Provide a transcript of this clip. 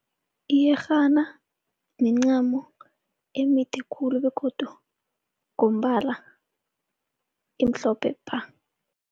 Iyerhana mincamo emide khulu begodu ngombala imhlophe bha.